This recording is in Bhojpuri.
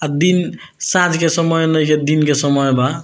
आ दिन साँझ के समय में ये दिन के समय बा।